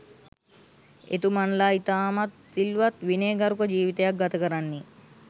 එතුමන්ලා ඉතාමත් සිල්වත් විනයගරුක ජීවිතයක් ගතකරන්නේ